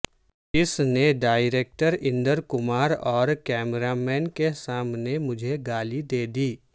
اس نے ڈائریکٹر اندر کمار اور cameraman کے سامنے مجھے گالی دے دی